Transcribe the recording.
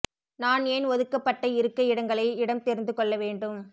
நான் ஏன் ஒதுக்கப்பட்ட இருக்கை இடங்களை இடம் தெரிந்து கொள்ள வேண்டும்